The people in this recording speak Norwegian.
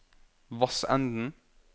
Vassenden